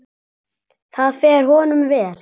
Það fer honum vel.